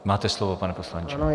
Máte slovo, pane poslanče.